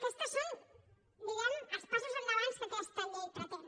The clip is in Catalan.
aquests són diguem ne els passos endavant que aquesta llei pretén